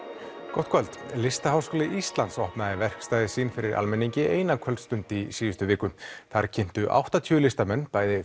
gott kvöld Listaháskóli Íslands opnaði verkstæði sín fyrir almenningi eina kvölstund í síðustu viku þar kynntu áttatíu listamenn bæði